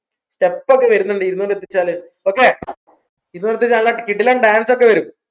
step ഒക്കെ വരുന്നുണ്ട് ഇരുന്നൂറ് എത്തിച്ചാൽ okay ഇരുന്നൂറ് എത്തിച്ചാ നല്ല കിടിലൻ dance ഒക്കെ വരു